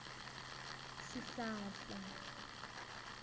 swihlahla